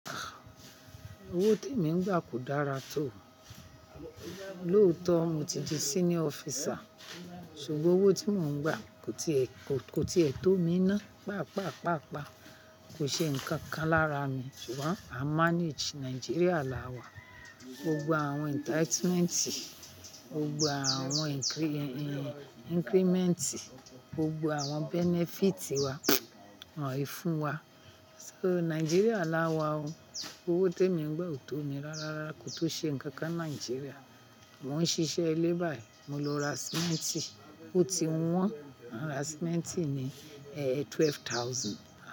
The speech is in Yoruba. Owó tí mo ń gbà kò dára tó. Lóòótọ́ mo ti di senior officer, ṣùgbọ́n owó tí mo ń gbà kò tiẹ̀ tó mi ná. Pàápàá, pàápàá kò ṣe nǹkan kan lára mi. Ṣùgbọ́n à ń manage Nigeria láwa. Gbogbo àwọn entitlement, gbogbo àwọn increment, gbogbo àwọn benefit wà, wọ́n i fún wa. So, Nigeria láwa o. Owó t'èmi ń gbà ò tó mi rárá, rárá kó tó ṣe nǹkan kan Nigeria. Mo ń ṣiṣẹ́ ilé bá í, mo lọ ra cement, ó ti wọ́n, à ń ra cement ni, twelve thousand.